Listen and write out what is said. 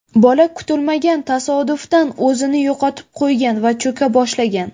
Bola kutilmagan tasodifdan o‘zini yo‘qotib qo‘ygan va cho‘ka boshlagan.